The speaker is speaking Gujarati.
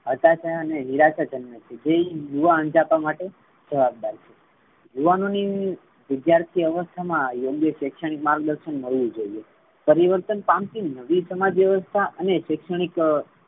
હતાશા અને નિરાશા જન્મે છે. જે એ યુવા અંજામતે દઈ છે. યુવાનોની વિદ્યાર્થી અવસ્થા મા યોગ્ય શૈક્ષણિક માર્ગ દર્શન મળવુ જોવે પરિવર્તન પામતી વિવિધ સમાજ વ્યવસ્થા અને શૈક્ષણિક